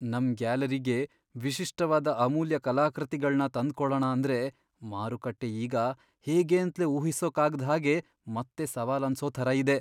ನಮ್ ಗ್ಯಾಲರಿಗೆ ವಿಶಿಷ್ಟವಾದ ಅಮೂಲ್ಯ ಕಲಾಕೃತಿಗಳ್ನ ತಂದ್ಕೊಳಣ ಅಂದ್ರೆ ಮಾರುಕಟ್ಟೆ ಈಗ ಹೇಗೇಂತ್ಲೇ ಊಹಿಸೋಕಾಗ್ದ್ ಹಾಗೆ ಮತ್ತೆ ಸವಾಲನ್ಸೋ ಥರ ಇದೆ.